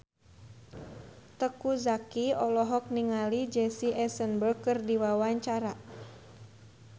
Teuku Zacky olohok ningali Jesse Eisenberg keur diwawancara